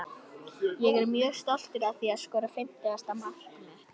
Ég er mjög stoltur að því að skora fimmtugasta mark mitt.